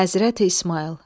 Həzrəti İsmayıl.